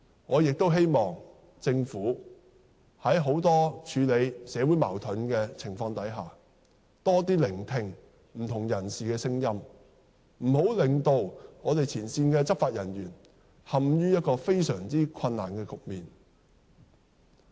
我希望政府在處理社會矛盾時多聆聽不同人士的聲音，不要令前線執法人員陷於非常困難的局面。